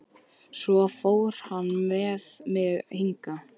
Svo fór hann með mig hingað.